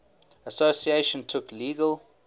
association took legal